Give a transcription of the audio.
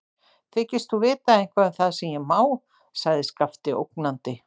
Þykist þú vita eitthvað um það hvað ég má, sagði Skapti ógnandi.